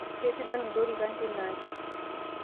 keisidan ilorikan teina aji